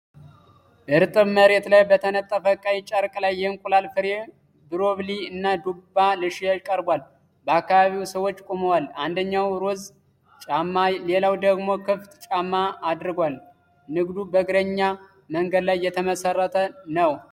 እርጥብ መሬት ላይ በተነጠፈ ቀይ ጨርቅ ላይ የእንቁላል ፍሬ፣ ብሮኮሊ እና ዱባ ለሽያጭ ቀርቧል። በአካባቢው ሰዎች ቆመዋል፤ አንደኛው ሮዝ ጫማ፣ ሌላው ደግሞ ክፍት ጫማ አድርጓል። ንግዱ በእግረኛ መንገድ ላይ የተመሠረተ ነው።